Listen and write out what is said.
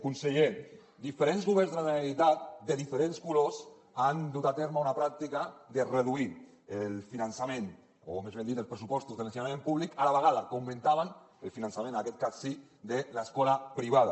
conseller diferents governs de la generalitat de diferents colors han dut a terme una pràctica de reduir el finançament o més ben dit els pressupostos de l’ensenyament públic a la vegada que augmentaven el finançament en aquest cas sí de l’escola privada